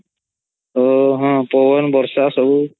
ହଁ ପବନ୍ ବର୍ଷା ସବୁ